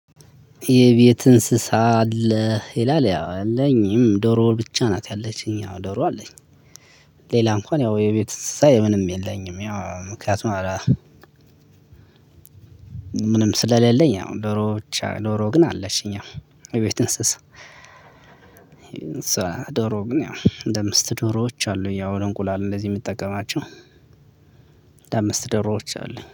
የቤት እንስሳ አለ ይላል ያው አለኝም ዶሮ ብቻ ናት ያለችኝ አው ዶሮ አለኝ። ሌላ እንኳን ያው የቤት እንስሳ ምንም የለኝም። ያው ምክንያቱም አላ። ምንም ስለሌለኝ ያው ዶሮ ብቻ ዶሮ ግን አለችኝ። ያው የቤት እንስስ ዶሮ ግን አንድደዠ አምስት ዶሮዎች አሉኝ። ያው እንቁላል እንደዚህ ምጠቀማቸው አኖድ አምስት ዶሮዎች አሉኝ